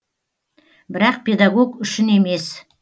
бірақ педагог үшін емес